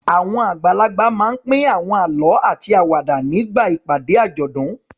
Àwọn àgbàlagbà máa ń pín àwọn àlọ́ àti àwàdà nígbà ìpàdé àjọ̀dún.